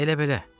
Elə belə.